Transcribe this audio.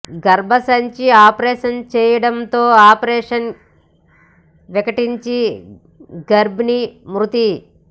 గర్భ సంచి ఆపరేషన్ చేయడం తో ఆపరేషన్ వికటించి గర్భిణీ మృతి